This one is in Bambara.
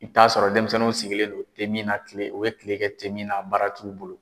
I bi taa sɔrɔ denmisɛnninw sigilen no te minna kile o bɛ kilekɛ te minna baara t'u bolo.